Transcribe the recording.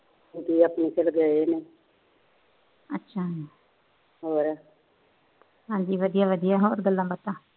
ਹਾਜੀ ਵਧੀਆਂ ਵਧੀਆਂ ਹੋਰ ਗੱਲਾ ਬਾਤਾ